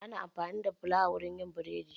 Ana amfani da fulawa wurin yin burodi.